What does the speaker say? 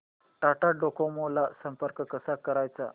Tata Docomo ला संपर्क कसा करायचा